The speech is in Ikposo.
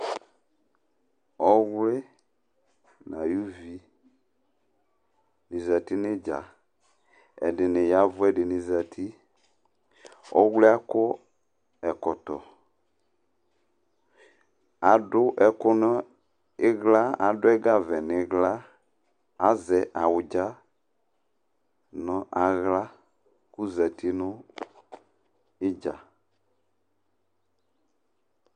Ɔwli nayuvi ni zǝtɩ nʋ idza Ɛdɩnɩ yavʋ, ɛdɩnɩ zǝtɩ Ɔwliɛ akɔ ɛkɔtɔ Adu ɛgavɛ nʋ ɩɣla Azɛ awudza nʋ aɣla kʋ ozǝtɩ nʋ idza